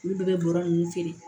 Olu bɛɛ bɛ bɔrɔ ninnu feere